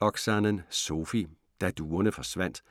Oksanen, Sofi: Da duerne forsvandt